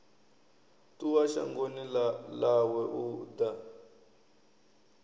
ṱuwa shangoni ḽawe u ḓa